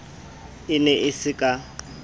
e ne e se ka